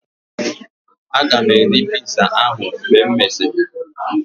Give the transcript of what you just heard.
Aga m eri piza ahu mgbe e mesịrị